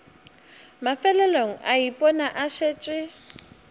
mafelelong a ipona a šetše